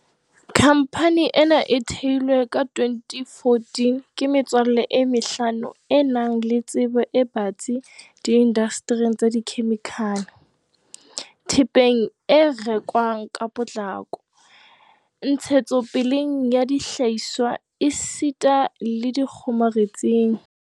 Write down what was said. Khamphane ena e theilwe ka 2014 ke metswalle e mehlano e nang le tsebo e batsi di indastering tsa dikhemikhale, thepeng e rekwang ka potlako, ntshetsopeleng ya dihlahiswa esita le dikgomaretsing.